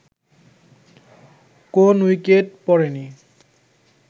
কোন উইকেট পড়েনি